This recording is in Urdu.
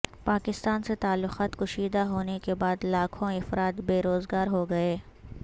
پاکستان سے تعلقات کشیدہ ہونے کے بعد لاکھوں افراد بے روزگار ہو گئے